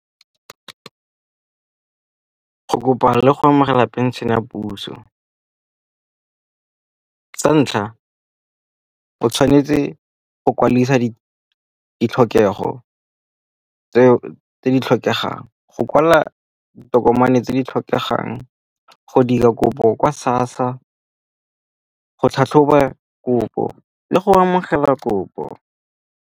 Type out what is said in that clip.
Go kopana le go amogela phenšene ya puso, sa ntlha o tshwanetse o kwadisa ditlhokego tse di tlhokegang. Go kwala ditokomane tse di tlhokegang go dira kopo kwa SASSA, go tlhatlhoba kopo le go amogela kopo.